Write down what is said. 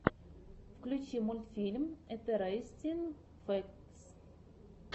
включи мультфильм интерестин фэктс